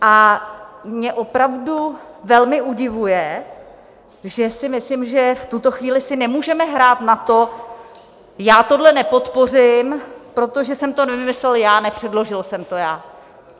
A mě opravdu velmi udivuje, že si myslím, že v tuto chvíli si nemůžeme hrát na to, já tohle nepodpořím, protože jsem to nevymyslel já, nepředložil jsem to já.